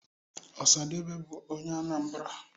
osadebe bu onye Anambra